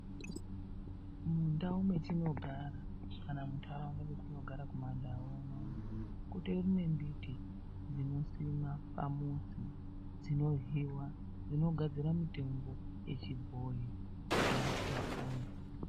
Mundau mwetinogara, kana kuti muntaraunda mwatinogara kumandau unono kutori nembiti dzinosimwa pamuzi dzinohliwa dzinogadzira mitombo dzechibhoyi kuti vantu vapone.